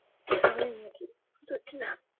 বুঝতে পারছি না